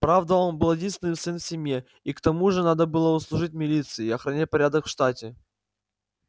правда он был единственный сын в семье и к тому же надо было служить в милиции и охранять порядок в штате